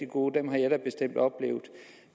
gode dem har jeg da bestemt oplevet